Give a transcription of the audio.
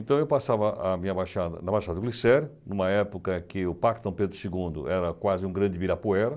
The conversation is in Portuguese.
Então, eu passava ah minha baixada na baixada do Glicério, numa época que o parque Pedro segundo era quase um grande ibirapuera.